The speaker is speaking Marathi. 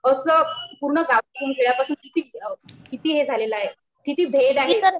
असं पूर्ण गावापासून खेड्यापासून कि हे झालेल आहे किती भेद आहे